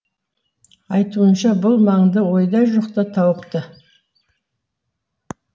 айтуынша бұл маңды ойда жоқта тауыпты